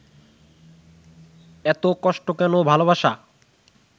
এত কষ্ট কেন ভালোবাসা?